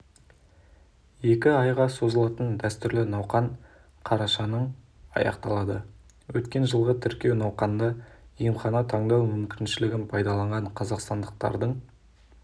екі айға созылатын дәстүрлі науқан қарашаның аяқталады өткен жылғы тіркеу науқанында емхана таңдау мүмкіншілігін пайдаланған қазақстандықтардың